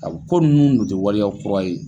A bi ko nunnu dun ti waleya kura ye.